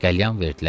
Qəlyan verdilər.